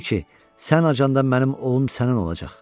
bil ki, sən acandan mənim ovum sənin olacaq.